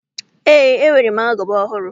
Ee, enwere m agụba ọhụrụ.